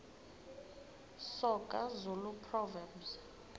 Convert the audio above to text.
soga zulu proverbs